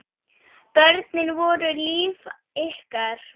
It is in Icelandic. Börnin voru líf ykkar.